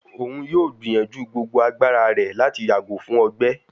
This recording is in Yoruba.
Oun yoo gbiyanju gbogbo agbara rẹ lati yago fun ọgbẹ